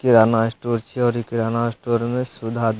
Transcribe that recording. किराना स्टोर छिये और इ किराना स्टोर मे सुधा --